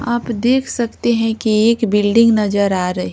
आप देख सकते हैं कि एक बिल्डिंग नजर आ रही--